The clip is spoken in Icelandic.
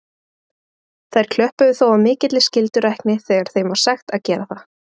Þær klöppuðu þó af mikilli skyldurækni þegar þeim var sagt að gera það.